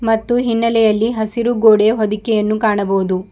ಮತ್ತು ಹಿನ್ನೆಲೆಯಲ್ಲಿ ಹಸಿರು ಗೋಡೆಯ ಹೊದಿಕೆಯನ್ನು ಕಾಣಬಹುದು.